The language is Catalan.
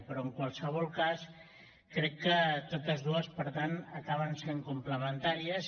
però en qualsevol cas crec que totes dues per tant acaben sent complementàries